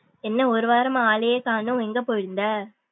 என்ன ஒரு வாரம்மா ஆளையே கானம் எங்க போயிருந்த?